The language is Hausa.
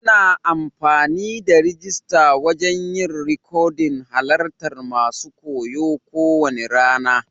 Ana amfani da rijista wajen yin rikodin halarta masun koyo ko wane rana.